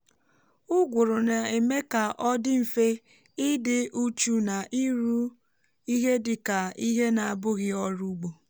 ụgụrụ na èmé kà ọ dị mfe ịdị uchu na iru ihe dịka ihé na abụghị ọrụ ugbo